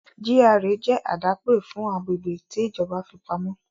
GRA jẹ́ àdápè fún agbègbè tí ìjọba fi pamọ́